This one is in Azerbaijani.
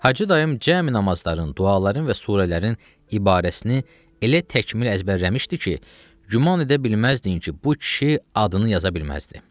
Hacı dayım cəmi namazların, duaların və surələrin ibarəsini elə təkmil əzbərləmişdi ki, güman edə bilməzdin ki, bu kişi adını yaza bilməzdi.